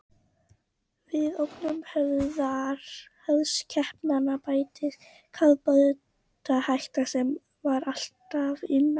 Við ógnir höfuðskepnanna bættist kafbátahættan, sem var alltaf nálæg.